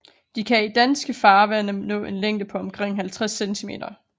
De kan i danske farvande nå en længde på omkring 50 centimeter